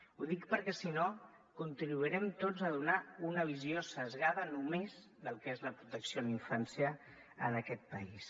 ho dic perquè si no contribuirem tots a donar una visió esbiaixada només del que és la protecció a la infància en aquest país